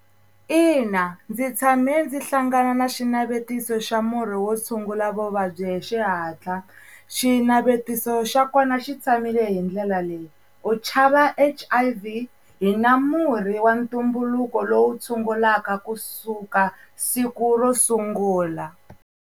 Ina ndzi tshame ndzi hlangana na xinavetiso xa murhi wo tshungula vuvabyi hi xihatla. Xinavetiso xa kona xi tshamile hi ndlela leyi, u chava H_I_V hi na murhi wa ntumbuluko lowu tshungulaka kusuka siku ro sungula.